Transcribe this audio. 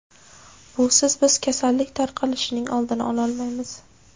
Busiz biz kasallik tarqalishining oldini ololmaymiz.